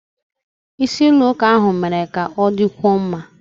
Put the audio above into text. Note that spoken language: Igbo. Ise ụlọ ụka ahụ mere ka ọ dịkwuo mma.